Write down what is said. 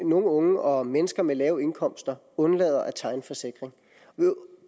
nogle unge og mennesker med lave indkomster undlader at tegne forsikring